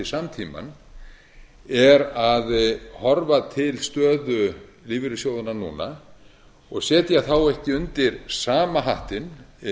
samtímann er að horfa til stöðu lífeyrissjóðanna núna og setja þá ekki undir sama hattinn